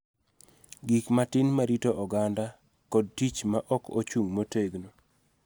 Gik matin ma rito oganda, kod tich ma ok ochung� motegno.